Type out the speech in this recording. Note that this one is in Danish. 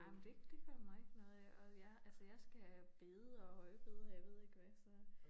Ej men det det gør mig ikke noget og jeg altså jeg skærer bede og højbede og jeg ved ikke hvad så